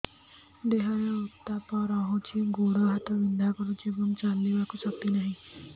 ଦେହରେ ଉତାପ ରହୁଛି ଗୋଡ଼ ହାତ ବିନ୍ଧା କରୁଛି ଏବଂ ଚାଲିବାକୁ ଶକ୍ତି ନାହିଁ